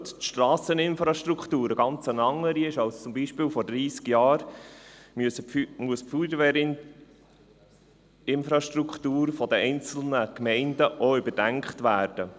Da heute die Strasseninfrastruktur eine ganz andere ist als zum Beispiel vor dreissig Jahren, muss auch die Feuerwehrinfrastruktur der einzelnen Gemeinden überdacht werden.